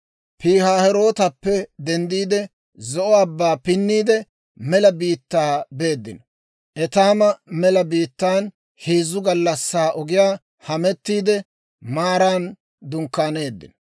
Pihaahirootappe denddiide, Zo'o Abbaa pinniide, mela biittaa beeddino. Etaama mela biittaan heezzu gallassaa ogiyaa hamettiide, Maaran dunkkaaneeddino.